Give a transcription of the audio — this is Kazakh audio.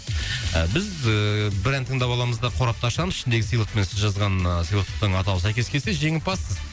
біз ііі бір ән тыңдап аламыз да қорапты ашамыз ішіндегі сыйлық пен сіз жазған ы сыйлықтың атауы сәйкес келсе жеңімпазсыз